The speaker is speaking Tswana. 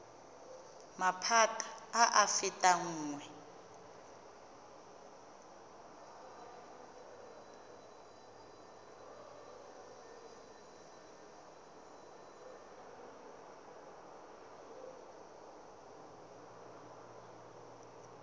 maphata a a fetang nngwe